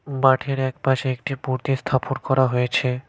মাঠের একপাশে একটি মূর্তি স্থাপন করা হয়েছে।